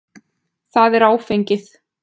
Það er áfengið.